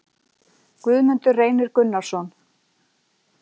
Guðmundur Reynir Gunnarsson